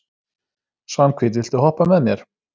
Svanhvít, viltu hoppa með mér?